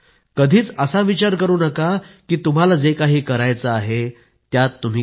you may be mediocre in school but it is by no means a measure of things to come in life